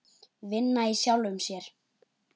Vinna í sjálfum sér.